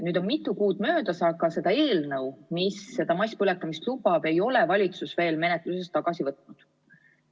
Nüüd on mitu kuud möödas, aga seda eelnõu, mis masspõletamist lubab, ei ole valitsus veel menetlusest tagasi võtnud.